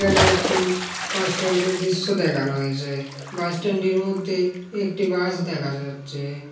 এখানে একটি বাস স্ট্যান্ডের দৃশ্য দেখানো হয়েছে। বাস স্ট্যান্ডের মধ্যে একটি বাস দেখা যাচ্ছে।